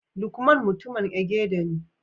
lukman mutumin Egede ne